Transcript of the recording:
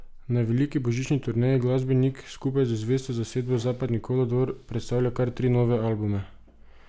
Na veliki božični turneji glasbenik skupaj z zvesto zasedbo Zapadni kolodvor predstavlja kar tri nove albume.